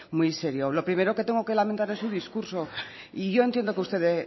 muy serio lo primero que tengo que lamentar es su discurso y yo entiendo que usted